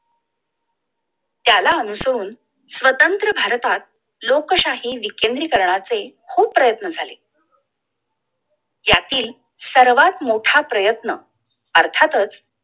त्याला अनुसरून स्वतंत्र भारतात लोकशाही विकेंद्रीकरणाचे खूप प्रयत्न झाले! यातील सर्वात मोठा प्रयत्न अर्थातच